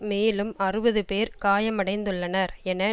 மேலும் அறுபது பேர் காயமடைந்துள்ளனர் என